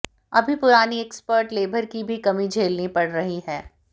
अभी पुरानी expert labour की भी कमी झेलनी पड़ रही है